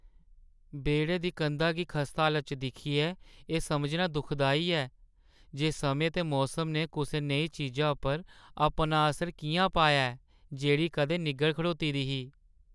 बेह्‌ड़े दी कंधा गी खस्ताहाल दशा च दिक्खियै, एह् समझना दुखदाई ऐ जे समें ते मौसम ने कुसै नेही चीजा पर अपना असर किʼयां पाया ऐ जेह्ड़ी कदें निग्गर खड़ोती दी ही।